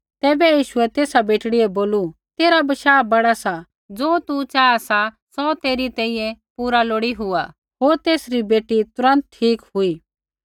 तैबै यीशुऐ तेसा बेटड़ी बै बोलू तेरा बशाह बड़ा सा ज़ो तू चाहा सा सौ तेरी तैंईंयैं पूरा लोड़ी हुआ होर तेसरी बेटी तुरन्त ठीक हुई